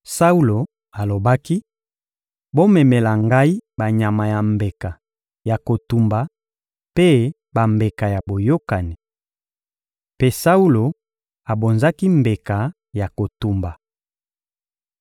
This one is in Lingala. Saulo alobaki: «Bomemela ngai banyama ya mbeka ya kotumba mpe bambeka ya boyokani.» Mpe Saulo abonzaki mbeka ya kotumba.